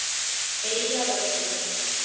Eyjavöllum